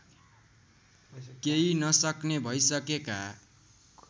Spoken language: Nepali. केही नसक्ने भइसकेका